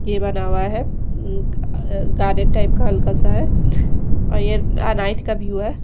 ये बना हुआ है अ गार्डन टाइप का हल्का सा है और ये अ नाइट का व्यू है।